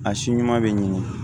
A si ɲuman be ɲini